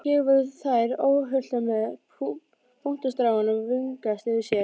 Hér voru þær óhultar með puntstráin að vingsast yfir sér.